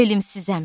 Elmsizəm.